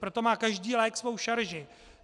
Proto má každý lék svou šarži.